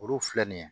Olu filɛ nin ye